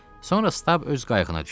Sonra Stab öz qayığına düşdü.